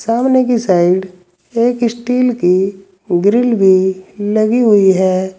सामने की साइड एक स्टील की ग्रिल भी लगी हुई है।